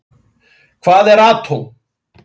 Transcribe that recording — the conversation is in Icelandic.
Hvað eru atóm?